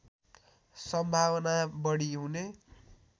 सम्भावना बढी हुने